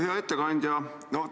Hea ettekandja!